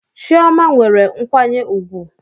Chioma nwere nkwanye ugwu